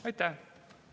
Aitäh!